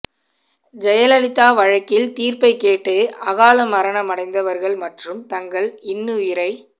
ஜெயலலிதா வழக்கில் தீர்ப்பை கேட்டு அகால மரணமடைந்தவர்கள் மற்றும் தங்கள் இன்னுயிரை